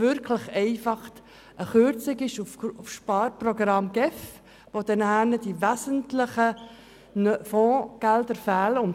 Oder ist es einfach eine Kürzung im Rahmen des Sparprogramms der GEF, mit der Konsequenz, dass nachher wesentliche Fondsgelder fehlen?